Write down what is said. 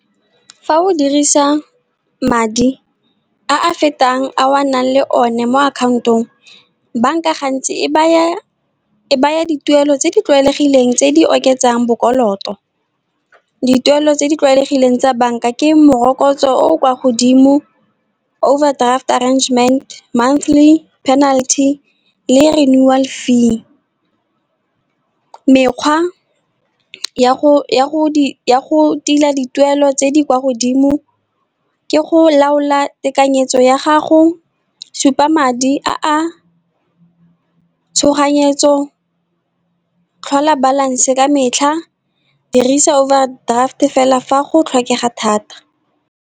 Fa o dirisa madi a a fetang a o a nang le one mo akhaontong, bank-a gantsi e baya dituelo tse di tlwaelegileng, tse di oketsang bokoloto, dituelo tse di tlwaelegileng tsa bank-a ke morokotso o o kwa godimo, overdraft arrangement, monthly penalty le renewal fee. Mekgwa ya go tila dituelo tse di kwa godimo, ke go laola tekanyetso ya gago, supa madi a tshoganyetso, tlhola balance ka metlha, dirisa overdraft fela fa go tlhokagala.